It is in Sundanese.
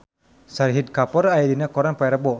Shahid Kapoor aya dina koran poe Rebo